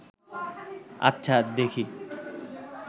আচ্ছা, দেখি